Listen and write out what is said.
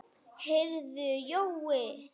Heyrðu Jói.